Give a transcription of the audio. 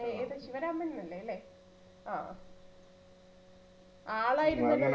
ഏത് ശിവരാമൻ എന്നല്ലേ? അല്ലേ? ആ ആളായിരുന്നു